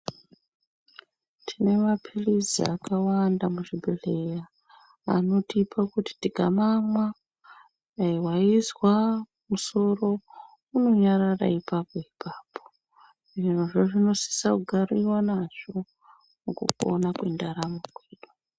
Tine mapirizi akawanda muzvibhedhlera anotipe kuti tikamamwa waizwa musoro unonyarara ipapo ipapo zvirozvo zvinosisa kugariwa nazvo mukupona kwendaramo kwedu.